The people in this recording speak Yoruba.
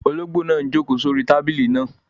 Olóngbò náà n jòkó sórí tábìlì náà